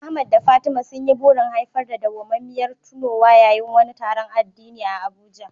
Ahmad da Fatima sun yi burin haifar da dawwamammiyar tunowa yayin wani taron addini a Abuja.